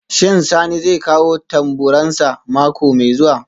Shin Sani zai kawo tamburansa mako mai zuwa?